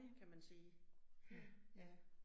Kan man sige, ja, ja